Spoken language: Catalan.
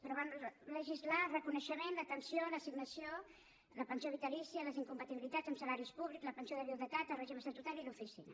però vam legislar el reconeixement l’atenció l’assignació la pensió vitalícia les incompatibilitats amb salaris públics la pensió de viudetat el règim estatutari i l’oficina